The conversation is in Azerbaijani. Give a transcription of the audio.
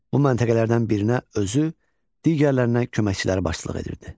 Bu məntəqələrdən birinə özü, digərlərinə köməkçiləri başçılıq edirdi.